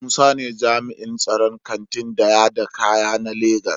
Musa ne jami'in tsaron Kantin daya da kaya na Lagos.